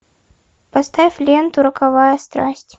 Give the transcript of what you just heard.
поставь ленту роковая страсть